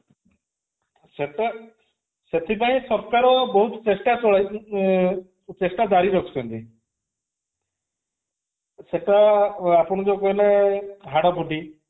ସେଟା ସେଥିପାଇଁ ସରକାର ବହୁତ ଚେଷ୍ଟା କ ଅ ଚେଷ୍ଟା ଜାରି ରଖୁଛନ୍ତି ସେଟା ଆପଣ ଯୋଉ କହିଲେ ହାଡଫୁଟି